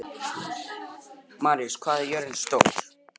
Maríus, hvað er jörðin stór?